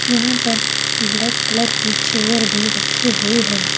यहां पर black colour की चेयर भी रखी हुई है।